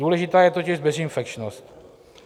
Důležitá je totiž bezinfekčnost.